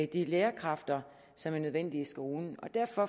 de lærerkræfter som er nødvendige i skolen og derfor